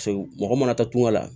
Segu mɔgɔ mana taa tunga la